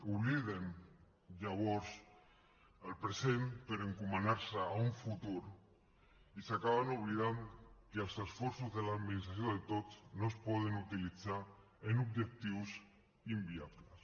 obliden llavors el present per encomanar se a un futur i acaben oblidant que els esforços de l’administració de tots no es poden utilitzar per a objectius inviables